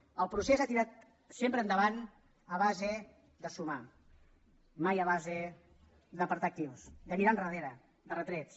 el procés ha tirat sempre endavant a base de sumar mai a base d’apartar actius de mirar enrere de retrets